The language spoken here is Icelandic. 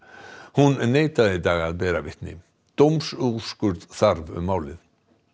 hún neitaði í dag að bera vitni dómsúrskurð þarf um málið það